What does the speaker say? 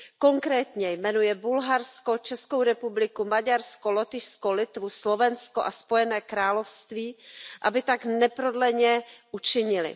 Konkrétně jmenuje Bulharsko, Českou republiku, Maďarsko, Lotyšsko, Litvu, Slovensko a Spojené království, aby tak neprodleně učinily.